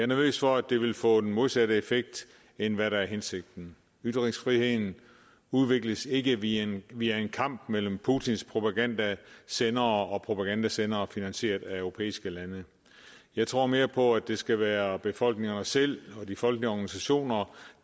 nervøs for at det vil få den modsatte effekt end hvad der er hensigten ytringsfriheden udvikles ikke via en via en kamp mellem putins propagandasendere og og propagandasendere finansieret af europæiske lande jeg tror mere på det skal være befolkningerne selv og de folkelige organisationer